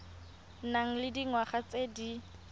nang le dingwaga tse di